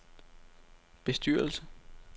bestyrelse